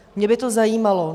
Mě by to zajímalo.